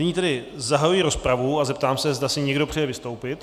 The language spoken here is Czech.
Nyní tedy zahajuji rozpravu a zeptám se, zda si někdo přeje vystoupit.